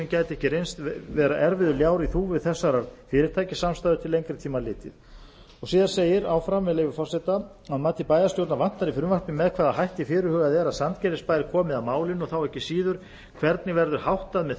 gæti ekki reynst vera erfiður ljár í þúfu þessarar fyrirtækjasamstæðu til lengri tíma litið síðan segir áfram með leyfi forseta að mati bæjarstjórn vantar í frumvarpið með hvaða hætti fyrirhugað er að sandgerðisbær komi að málinu og þá ekki síður hvernig verður háttað með